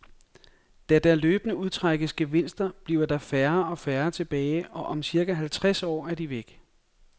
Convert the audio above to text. Da der løbende udtrækkes gevinster, bliver der færre og færre tilbage, og om cirka halvtreds år er de væk.